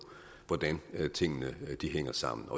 hvordan tingene hænger sammen